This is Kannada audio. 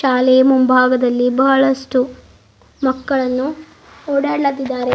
ಶಾಲೆ ಮುಂಭಾಗದಲ್ಲಿ ಬಹಳಷ್ಟು ಮಕ್ಕಳನ್ನು ಓಡಾಡ್ಲತ್ತಿದ್ದಾರೆ.